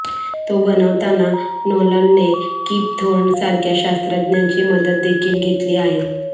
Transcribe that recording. तो बनवताना नोलनने कीप थोर्न सारख्या शास्त्रज्ञांची मदतदेखील घेतली आहे